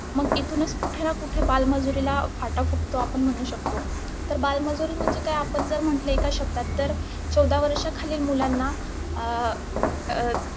मग इथूनच कुठना कुठ बालमजुरीला फाटा फुटतो आपण म्हणू शकतो. तर बालमजुरी म्हणजे काय? आपण जर म्हंटल एक शब्दात तर, चौदा वर्षाखालील मुलांना अं अं